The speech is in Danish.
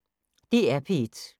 DR P1